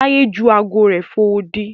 Taye jù ààgo rẹ fò odi.